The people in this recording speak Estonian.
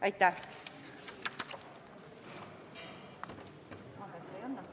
Aitäh!